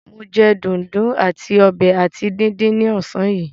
Mo jẹ dùndún àti ọbẹ̀ ata díndín ní ọ̀sán yìí.